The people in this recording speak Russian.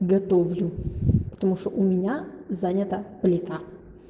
готовлю потому что у меня занята плита